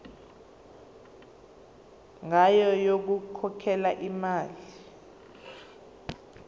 ngayo yokukhokhela imali